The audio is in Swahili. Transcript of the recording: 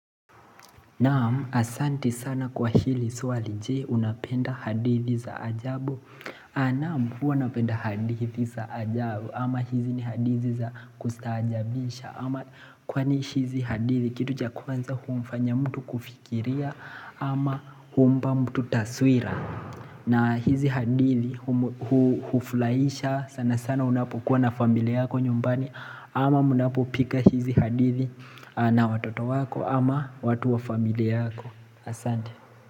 Naam asanti sana kwa hili swali je unapenda hadithi za ajabu Naam huwa unapenda hadithi za ajabu ama hizi ni hadithi za kustaajabisha ama kwani hizi hadithi kituja kwanza humfanya mtu kufikiria ama humpa mtu taswira na hizi hadithi hufurahisha sana sana unapokuwa na familia yako nyumbani ama munapopika hizi hadithi na watoto wako ama watu wa familia yako Asante.